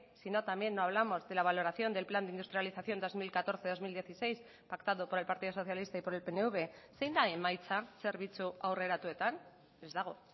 si no también no hablamos de la valoración del plan de industrialización dos mil catorce dos mil dieciséis pactado por el partido socialista y por el pnv zein da emaitza zerbitzu aurreratuetan ez dago